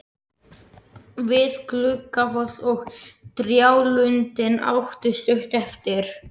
Við Gluggafoss og trjálundinn áttu stutt eftir.